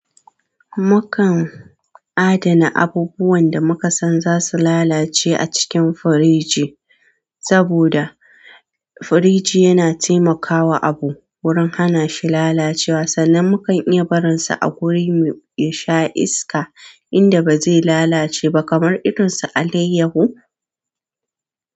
Mukan adana abubuwan da muka san za su lalace a cikin firiji, saboda firiji yana taimakawa abu wurin hana shi lalacewa sannan mukan iya barinsa a wuri mu ya sha iska inda ba zai lalace ba kamar irin su alayyahu.